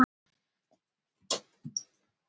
Allt tekur þetta sinn tíma.